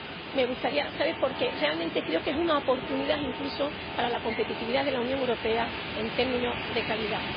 Me gustaría saberlo, porque realmente creo que es una oportunidad incluso para la competitividad de la Unión Europea en términos de calidad.